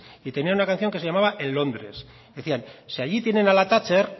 y tenían una canción que se llamaba en londres decían si allí tienen a la thatcher